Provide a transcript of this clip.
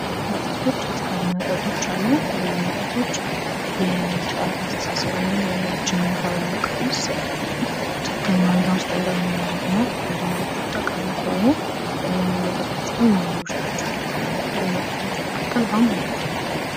መጠጦች አስካሪ መጠጦች አሉ እነዚህ መጠጦች የሰው ያስተሳሰብ ወይም ደግሞ የአእምሮአችንን ሁኔታ በማቃወስ ትክክለኛ ሁኔታ ውስጥ እንዳንሆን ያደርጉናል። አንዳንዶቹ ጠቃሚ ሲሆኑ አንዳንድ መጠጦች ግን ጎጂዎች ናቸው። ከጥሩ መጠጦች መካከል ውሃም አንዱ ነው።